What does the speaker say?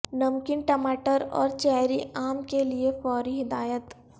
نمکین ٹماٹر اور چیری عام کے لئے فوری ہدایت